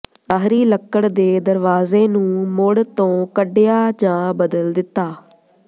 ਬਾਹਰੀ ਲੱਕੜ ਦੇ ਦਰਵਾਜ਼ੇ ਨੂੰ ਮੁੜ ਤੋਂ ਕੱਢਿਆ ਜਾਂ ਬਦਲ ਦਿੱਤਾ